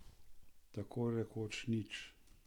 Tako rekoč nič.